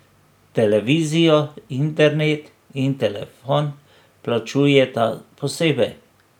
Televizijo, internet in telefon plačujeta posebej.